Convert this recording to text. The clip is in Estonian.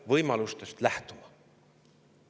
– võimalustest lähtuma.